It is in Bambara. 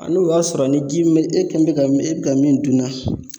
A n'o y'a sɔrɔ ni ji min be e kɛ mɛ ka min e bi ka min dunna